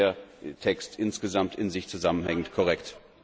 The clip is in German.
Dann wird der Text insgesamt in sich zusammenhängend korrekt.